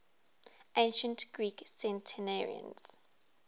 ancient greek centenarians